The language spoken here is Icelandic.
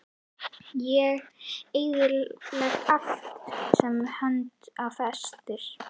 Ég eyðilegg allt sem hönd á festir.